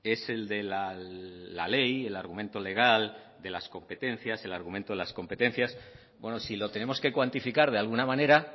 es el de la ley el argumento legal el argumento de las competencias bueno si lo tenemos que cuantificar de alguna manera